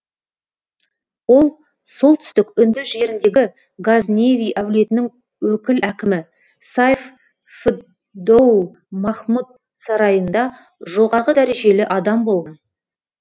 ол солтүстік үнді жеріндегі газневи әулетінің өкіл әкімі сайф фд доул махмұд сарайында жоғарғы дәрежелі адам болған